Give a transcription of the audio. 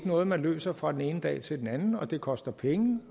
noget man løser fra den ene dag til den anden og det koster penge